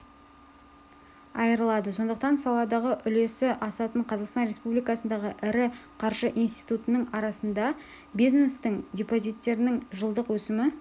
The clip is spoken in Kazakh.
айырылады сондықтан саладағы үлесі асатын қазақстан республикасындағы ірі қаржы институтының арасында бизнестің депозиттерінің жылдық өсімі